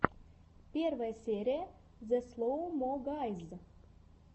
первая серия зе слоу мо гайз